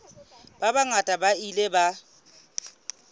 ba bangata ba ile ba